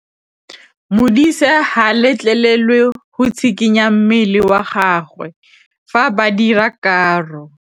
Modise ga a letlelelwa go tshikinya mmele wa gagwe fa ba dira karô.